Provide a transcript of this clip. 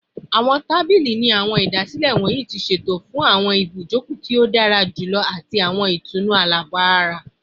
Awọn tabili ni awọn idasile wọnyi ti ṣeto fun ibijoko ti o dara julọ ati itunu alabara